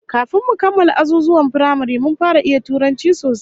Kafin mu kammala azuzuwan firamare mun fara iya Turanci sosai